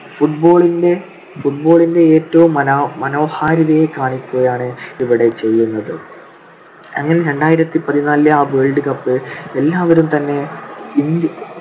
football ന്റെ football ന്റെ ഏറ്റവും മനോഹാരിതയെ കാണിക്കുകയാണ് ഇവിടെ ചെയ്യുന്നത്. അങ്ങനെ രണ്ടായിരത്തിപതിനാലിലെ ആ world cup എല്ലാവരും തന്നെ ഇൻഡി~